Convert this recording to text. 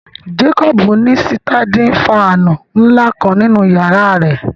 Jacob ni sitandin fàànù nla kan ninu yara rẹ